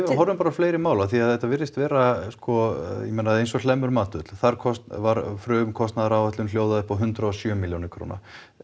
horfum bara á fleiri mál af því að þetta virðist vera sko ég meina eins og Hlemmur þar kostar var frumkostnaðaráætlun hljóðaði upp á hundrað og sjö milljónir króna